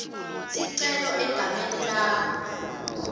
sicelo egameni lakho